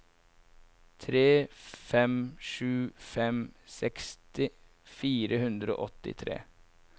tre fem sju fem seksti fire hundre og åttitre